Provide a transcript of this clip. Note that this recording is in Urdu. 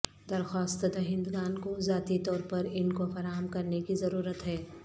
درخواست دہندگان کو ذاتی طور پر ان کو فراہم کرنے کی ضرورت ہے